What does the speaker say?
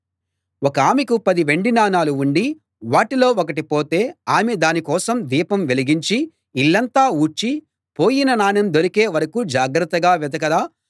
ఒకామెకు పది వెండి నాణాలు ఉండి వాటిలో ఒకటి పోతే ఆమె దాని కోసం దీపం వెలిగించి ఇల్లంతా ఊడ్చి పోయిన నాణెం దొరికే వరకూ జాగ్రత్తగా వెదకదా